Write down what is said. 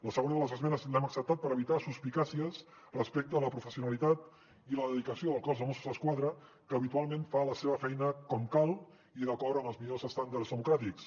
la segona de les esmenes l’hem acceptat per evitar suspicàcies respecte a la professionalitat i la dedicació del cos de mossos d’esquadra que habitualment fa la seva feina com cal i d’acord amb els millors estàndards democràtics